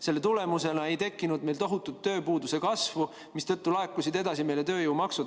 Selle tulemusena ei tekkinud meil tohutut tööpuuduse kasvu, mistõttu laekusid edasi tööjõumaksud.